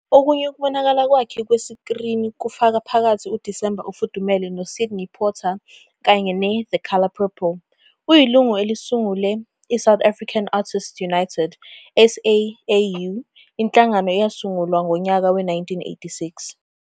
Okunye ukubonakala kwakhe kwesikrini kufaka phakathi uDisemba ofudumele noSidney Pottier kanye ne-The Colour Purple. Uyilungu elisungule iSouth African Artists United, SAAU, inhlangano eyasungulwa ngonyaka we-1986.